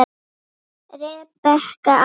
Rebekka amma.